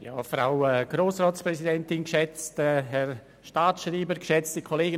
Als Erstes spricht Grossrat Vanoni für die Grünen.